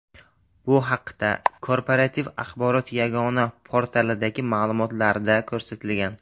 Bu haqda Korporativ axborot yagona portalidagi ma’lumotlarda ko‘rsatilgan .